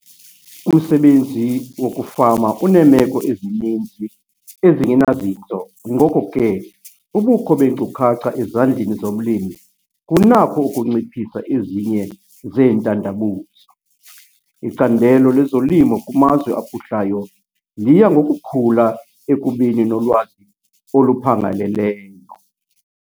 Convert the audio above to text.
Umsebenzi wokufama uneemeko ezininzi ezingenazinzo ngoko ke ubukho beenkcukacha ezandleni zomlimi kunakho ukunciphisa ezinye zeentandabuzo. Icandelo lezolimo kumazwe aphuhlayo liya ngokukhula ekubeni nolwazi oluphangaleleyo.